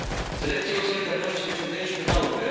Z lekcji o solidarności wyciągnęliśmy naukę.